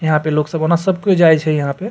यहां पे लोग सब ओना सब कियो जाय छै यहां पे।